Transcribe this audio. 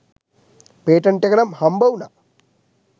Patent එක නම් හම්බ උනා.